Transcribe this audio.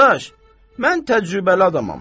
Qardaş, mən təcrübəli adamam.